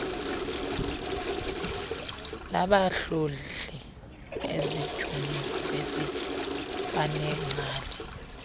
labahlohli ezidyunivesiti kwaneengcali